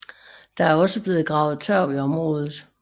Der er også blevet gravet tørv i området